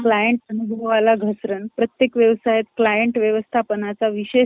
Client ला घसरण . प्रतेय्क व्यवसायात क्लायंट व्यवस्थापनाचा विशेष ,